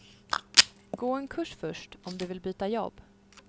Gå en kurs först om du vill byta jobb.